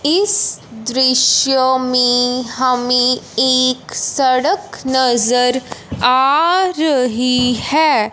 इस दृश्य में हमें एक सड़क नजर आ रही है।